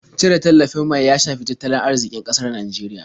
Cire tallafin mai ya shafi tattalin arziƙin ƙasar Nijeriya.